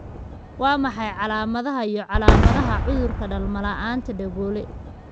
Waa maxay calaamadaha iyo calaamadaha cudurka dhalmo la'aanta Dhegoole?